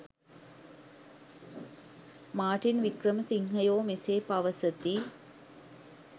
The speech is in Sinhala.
මාර්ටින් වික්‍රමසිංහයෝ මෙසේ පවසති.